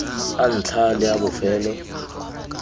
a ntlha le a bofelo